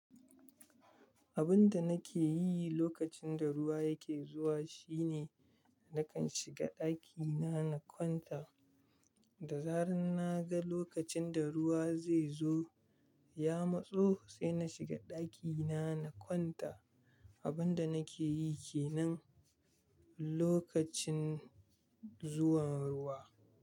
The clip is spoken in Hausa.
Abun da nake yi lokacin da ruwa yake zuwa shine nakan shiga ɗakina na kwanta. Da zaran na ga lokacin da ruwa zai zo, ya matso sai na shiga ɗakina na kwanta. Abun da nake yi kenan lokacin zuwan ruwa.